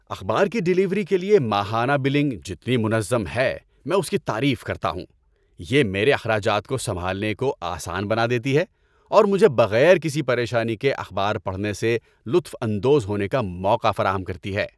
اخبار کی ڈیلیوری کے لیے ماہانہ بلنگ جتنی منظم ہے میں اس کی تعریف کرتا ہوں۔ یہ میرے اخراجات کو سنبھالنے کو آسان بنا دیتی ہے اور مجھے بغیر کسی پریشانی کے اخبار پڑھنے سے لطف اندوز ہونے کا موقع فراہم کرتی ہے۔